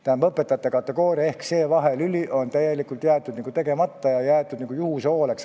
Tähendab, õpetajate kategooriaga, selle vahelüliga ei ole tegeletud, see on juhuse hooleks jäetud.